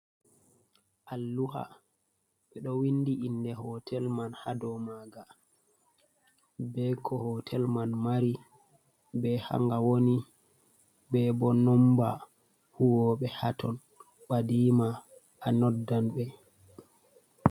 Alluha, ɓe ɗo windi inde hootel man haa dow maaga, be ko hootel man mari, be haa nga woni, be boo nomba huwooɓe haa ton, ɓɗdiima a noddan ɓe.